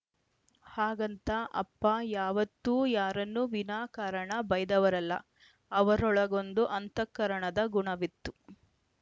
ಹಾಗಂತ ಅಪ್ಪ ಯಾವತ್ತೂ ಯಾರನ್ನು ವಿನಾ ಕಾರಣ ಬೈಯ್ದವರಲ್ಲ ಅವರೊಳಗೊಂದು ಅಂತಕರಣದ ಗುಣವಿತ್ತು